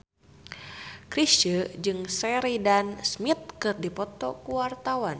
Chrisye jeung Sheridan Smith keur dipoto ku wartawan